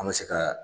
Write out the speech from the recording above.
An bɛ se ka